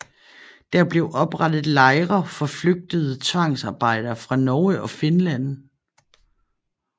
Der blev oprettet lejre for flygtede tvangsarbejdere fra Norge og Finland